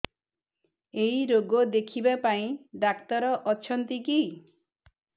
ଏଇ ରୋଗ ଦେଖିବା ପାଇଁ ଡ଼ାକ୍ତର ଅଛନ୍ତି କି